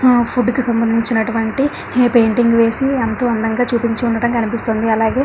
ఆ ఫుడ్ కి సంబంధించినటువంటి హ పెయింటింగ్ వేసి ఎంతో అందంగా చూపించి ఉండడం కనిపిస్తుంది అలాగే --